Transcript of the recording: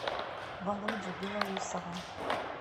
володю белоусова